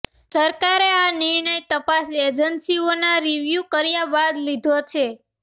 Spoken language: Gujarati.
સરકારે આ નિર્ણય તપાસ એજન્સીઓના રિવ્યુ કર્યા બાદ લીધો છે